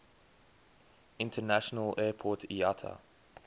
international airport iata